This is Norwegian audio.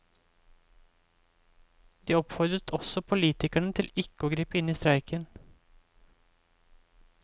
De oppfordret også politikerne til ikke å gripe inn i streiken.